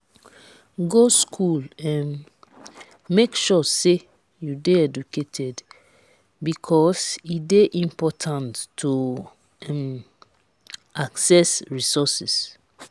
go school um make sure say you de educated because e de important to um access resources